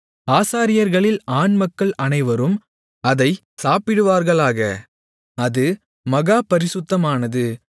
ஆசாரியர்களில் ஆண்மக்கள் அனைவரும் அதைச் சாப்பிடுவார்களாக அது மகா பரிசுத்தமானது